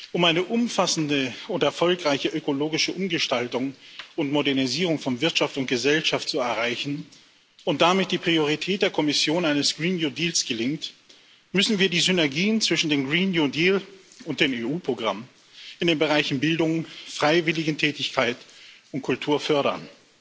Um eine umfassende und erfolgreiche ökologische Umgestaltung und Modernisierung von Wirtschaft und Gesellschaft zu erreichen und damit die Priorität der Kommission eines gelingt, müssen wir die Synergien zwischen dem und den EU Programmen in den Bereichen Bildung, Freiwilligentätigkeit und Kultur fördern.